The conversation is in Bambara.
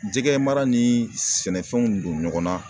Jɛgɛ mara ni sɛnɛfɛnw don ɲɔgɔn na.